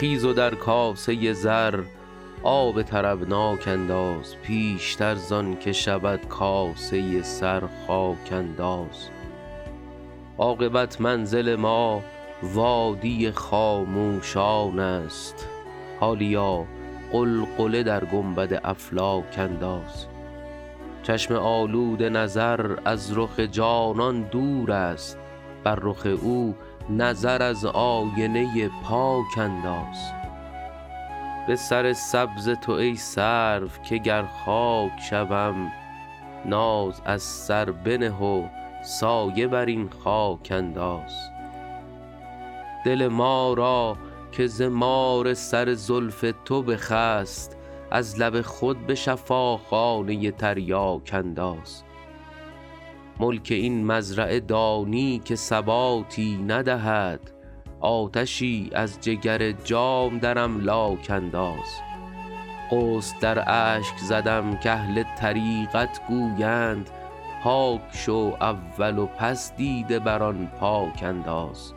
خیز و در کاسه زر آب طربناک انداز پیشتر زان که شود کاسه سر خاک انداز عاقبت منزل ما وادی خاموشان است حالیا غلغله در گنبد افلاک انداز چشم آلوده نظر از رخ جانان دور است بر رخ او نظر از آینه پاک انداز به سر سبز تو ای سرو که گر خاک شوم ناز از سر بنه و سایه بر این خاک انداز دل ما را که ز مار سر زلف تو بخست از لب خود به شفاخانه تریاک انداز ملک این مزرعه دانی که ثباتی ندهد آتشی از جگر جام در املاک انداز غسل در اشک زدم کاهل طریقت گویند پاک شو اول و پس دیده بر آن پاک انداز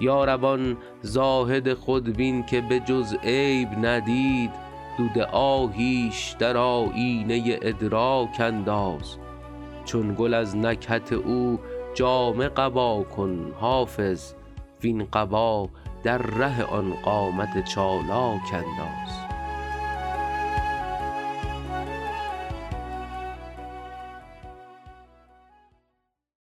یا رب آن زاهد خودبین که به جز عیب ندید دود آهیش در آیینه ادراک انداز چون گل از نکهت او جامه قبا کن حافظ وین قبا در ره آن قامت چالاک انداز